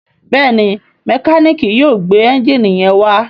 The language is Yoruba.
Béèni Mẹkáníìkì yóò gbé Ẹ́ńjìnì yén wá.